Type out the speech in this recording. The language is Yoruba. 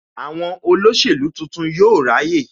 Àwọn olóṣèlú tuntun yóò ráyè